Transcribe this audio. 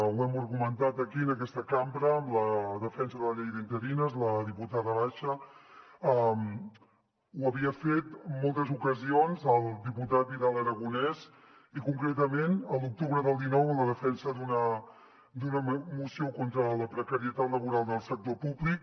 ho hem argumentat aquí en aquesta cambra amb la defensa de la llei d’interines amb la diputada basha ho havia fet en moltes ocasions el diputat vidal aragonés i concretament l’octubre del dinou amb la defensa d’una moció contra la precarietat laboral del sector públic